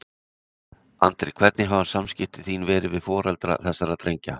Andri: Hvernig hafa samskipti þín verið við foreldra þessara drengja?